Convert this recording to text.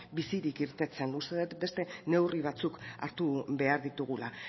bizirik irteten uste dut beste neurri batzuk hartu behar ditugula